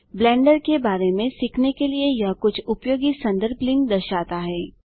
blender के बारे में सीखने के लिए यह कुछ उपयोगी संदर्भ लिंक दर्शाता है